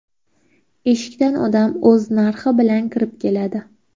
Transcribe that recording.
Eshikdan odam o‘z narxi bilan kirib keladi.